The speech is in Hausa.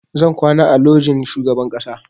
Zan kwana a lojin shugaban ƙasa